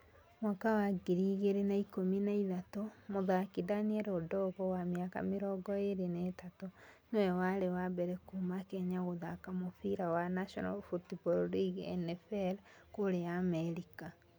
Mwaka wa ngiri igĩrĩ na ĩkũmi na ithatũ, mũthaaki Daniel Adongo wa mĩaka mĩrongo ĩrĩ na ithatũ, nĩ we warĩ wa mbere kuuma Kenya gũthaaka mũbira wa national football league (NFL) kũrĩa Amerika.